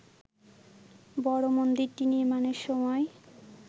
বড় মন্দিরটি নির্মাণের সময়